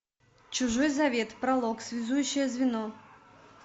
чужой завет пролог связующее звено